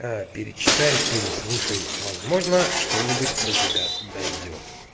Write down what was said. перечитай переслушай возможно что-нибудь до тебя дойдёт